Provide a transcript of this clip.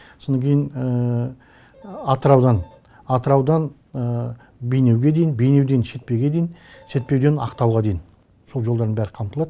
содан кейін атыраудан атыраудан бейнеуге дейін бейнеуден шетпеуге дейін шетпеуден ақтауға дейін сол жолдардың бәрі қамтылады